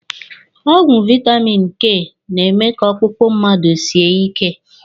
Ọgwụ vaitamini K na-eme ka ọkpụkpọ mmadụ sie ike.